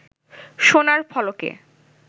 সোনার ফলকে